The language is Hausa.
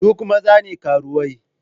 Duk maza ne karuwai?